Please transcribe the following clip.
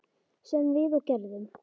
Sem við og gerðum.